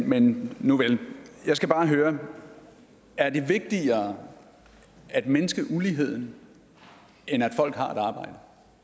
men nuvel jeg skal bare høre er det vigtigere at mindske uligheden end at folk har et arbejde